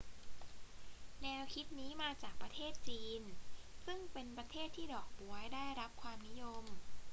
แนวคิดนี้มาจากประเทศจีน ซึ่งเป็นประเทศที่ดอกบ๊วยได้รับความนิยม